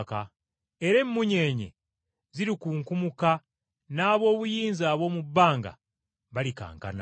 era, emmunyeenye zirikunkumuka, n’aboobuyinza ab’omu bbanga balikankana.’ ”